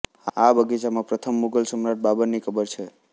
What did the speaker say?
આ બગીચામાં પ્રથમ મુઘલ સમ્રાટ બાબરની કબર છે